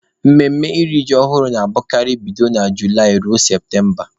Mmemme iri ji ọhụrụ na-abụkarị bido na Julaị ruo Septemba.